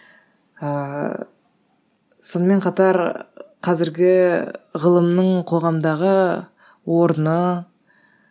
ыыы сонымен қатар қазіргі ғылымның қоғамдағы орны